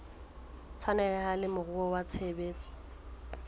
tshwaneleha le moruo wa tshebetso